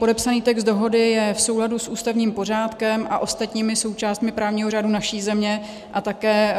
Podepsaný text dohody je v souladu s ústavním pořádkem a ostatními součástmi právního řádu naší země a také